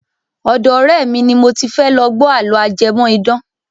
Ọ̀dọ́ ọ̀rẹ́ mi ni mo ti fẹ́ lọ gbọ́ àlọ́ ajẹmọ́ idán.